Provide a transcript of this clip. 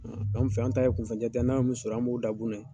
an fɛ, an ta ye kunfɛ jate ye, n'an ye mun sɔrɔ, an b'o dan gun na in .